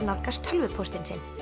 nálgast tölvupóstinn sinn